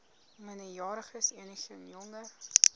minderjariges enigeen jonger